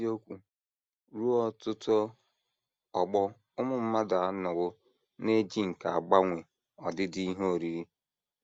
N’eziokwu, ruo ọtụtụ ọgbọ ụmụ mmadụ anọwo na - eji nkà agbanwe ọdịdị ihe oriri.